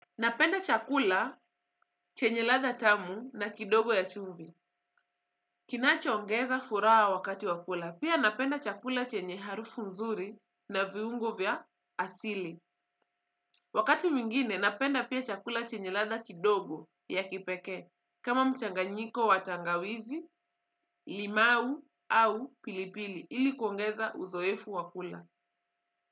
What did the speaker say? Napenda chakula chenye ladha tamu na kidogo ya chumvi. Kinaongeza furaha wakati wa kula. Pia napenda chakula chenye harufu nzuri na viungo vya asili. Wakati mwingine napenda pia chakula chenye ladha kidogo ya kipekee. Kama mchanganyiko wa tangawizi, limau au pilipili ili kuongeza uzoefu wa kula.